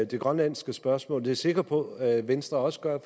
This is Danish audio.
det grønlandske spørgsmål jeg sikker på venstre også gør